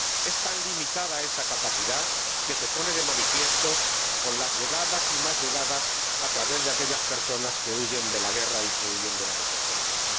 Es tan limitada esa capacidad, que se pone de manifiesto con las llegadas y más llegadas de aquellas personas que huyen de la guerra y que huyen de la desesperación.